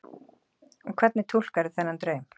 Og hvernig túlkarðu þennan draum?